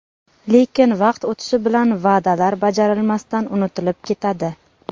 Lekin, vaqt o‘tishi bilan va’dalar bajarilmasdan unutilib ketadi.